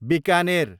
Bikaner